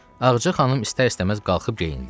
Ağca xanım istər-istəməz qalxıb geyindi.